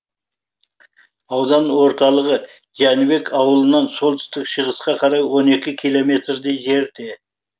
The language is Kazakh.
аудан орталығы жәнібек ауылынан солтүстік шығысқа қарай он екі километрдей жерде